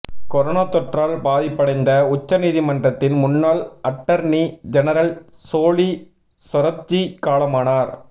corona தொற்றால் பாதிப்படைந்த உச்ச நீதிமன்றத்தின் முன்னாள் அட்டர்னி ஜெனரல் சோலி சொராப்ஜி காலமானார்